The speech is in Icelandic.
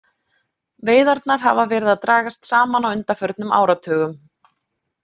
Veiðarnar hafa verið að dragast saman á undanförnum áratugum.